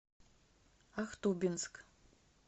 ахтубинск